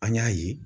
An y'a ye